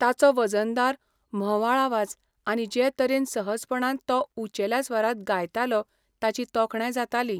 ताचो वजनदार, म्होवाळ आवाज आनी जे तरेन सहजपणान तो उंचेल्या स्वरांत गायतालो ताची तोखणाय जाताली.